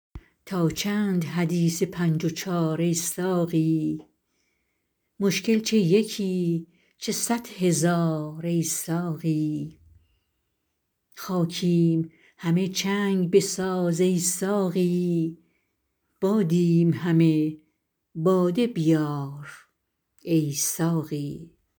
تا چند حدیث پنج و چار ای ساقی مشکل چه یکی چه صد هزار ای ساقی خاکیم همه چنگ بساز ای ساقی بادیم همه باده بیار ای ساقی